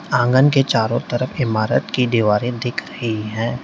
आंगन के चारों तरफ इमारत की दीवारें दिख रही है।